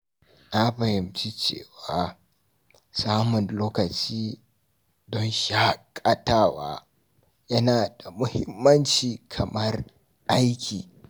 Na fahimci cewa samun lokaci don shaƙatawa yana da muhimmanci kamar aiki.